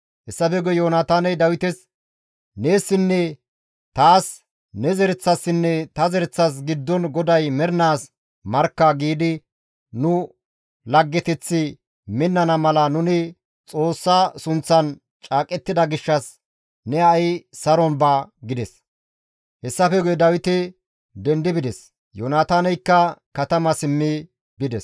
Hessafe guye Yoonataaney Dawites, « ‹Neessinne taas, ne zereththassinne ta zereththas giddon GODAY mernaas markka› giidi nu laggeteththi minnana mala nuni Xoossa sunththan caaqettida gishshas ne ha7i saron ba» gides. Hessafe guye Dawiti dendi bides; Yoonataaneykka katama simmi bides.